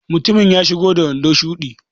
Mutumin ya iso da wando shuɗi.